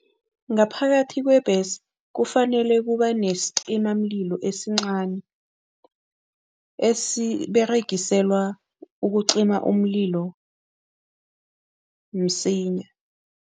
Ngaphakathi kwebhesi kufanele kube nesicimamlilo esincani, esiberegiselwa ukucima umlilo msinya.